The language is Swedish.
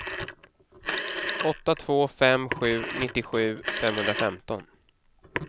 åtta två fem sju nittiosju femhundrafemton